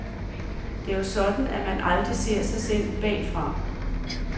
Det er jo sådan, at man aldrig ser sig selv bagfra.